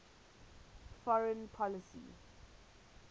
foreign policy